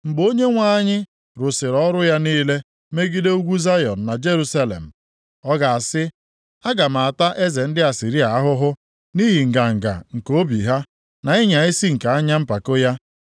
Mgbe Onyenwe anyị rụsịrị ọrụ ya niile megide ugwu Zayọn na Jerusalem, ọ ga-asị, “Aga m ata eze ndị Asịrịa ahụhụ nʼihi nganga nke obi ha, na ịnya isi nke anya mpako ya.